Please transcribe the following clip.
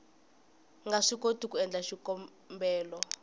nga swikoti ku endla xikombelo